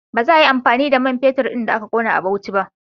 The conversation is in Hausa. Ba za ayi amfani da man fetur ɗin da aka gano a Bauchi ba